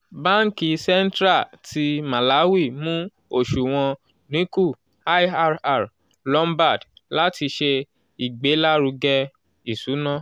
banki central ti malawi mu oṣuwọn dinku lrr lombard lati ṣe igbelaruge iṣuna